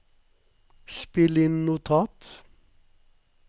spill inn notat